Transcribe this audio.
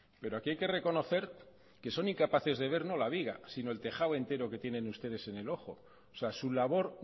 pero aquí hay que reconocer que son incapaces de ver no la viga sino el tejado entero que tienen ustedes en el ojo o sea su labor